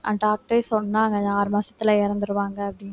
doctor ஏ சொன்னாங்க இன்னும் ஆறு மாசத்துல இறந்துருவாங்க அப்படின்னு